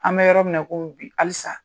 An mɛ yɔrɔ min na, i komi bi hali sa.